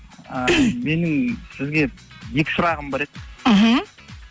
ы менің сізге екі сұрағым бар еді мхм